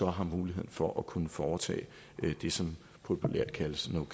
har mulighed for at kunne foretage det som populært kaldes no